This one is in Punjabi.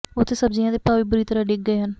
ਉੱਥੇ ਸਬਜ਼ੀਆਂ ਦੇ ਭਾਅ ਵੀ ਬੁਰੀ ਤਰ੍ਹਾਂ ਡਿੱਗ ਗਏ ਹਨ